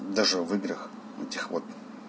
даже в играх этих вот